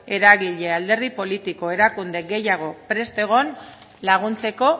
eragile alderdi politiko erakunde gehiagok prest egon laguntzeko